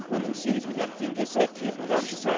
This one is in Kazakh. оның сегіз миллиард теңгесі кепіл қаржысы